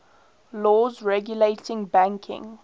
laws regulating banking